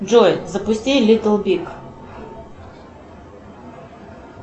джой запусти литл биг